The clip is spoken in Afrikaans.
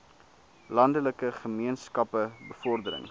landelike gemeenskappe bevordering